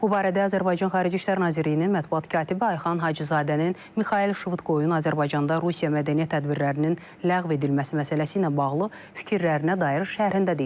Bu barədə Azərbaycan Xarici İşlər Nazirliyinin mətbuat katibi Ayxan Hacızadənin Mixail Şvıdkoyun Azərbaycanda Rusiya mədəniyyət tədbirlərinin ləğv edilməsi məsələsi ilə bağlı fikirlərinə dair şərhində deyilir.